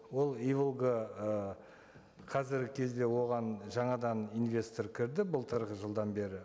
ол иволга і қазіргі кезде оған жаңадан инвестор кірді былтырғы жылдан бері